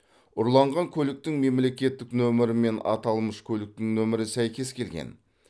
ұрланған көліктің мемлекеттік нөмірі мен аталмыш көліктің нөмірі сәйкес келген